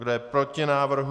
Kdo je proti návrhu?